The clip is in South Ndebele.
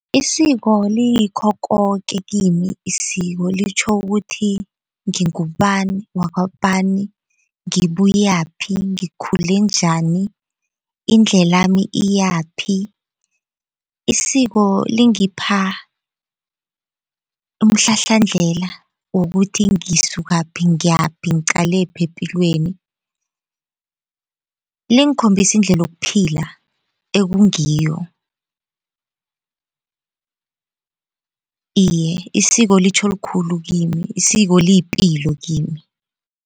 Isiko liyikho koke kimi isiko, litjho ukuthi ngingubani wakwabani, ngibuyaphi ngikhule njani indlelami iyaphi. Isiko lingipha umhlahlandlela wokuthi ngisukaphi ngiyaphi ngiqalephi epilweni, lingikhombisa indlela yokuphila ekungiyo. Iye isiko litjho likhulu kimi isiko liyipilo kimi.